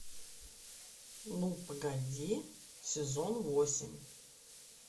ну погоди сезон восемь